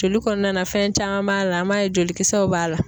Joli kɔnɔna na fɛn caman m'a la an m'a ye jolikisɛw b'a la.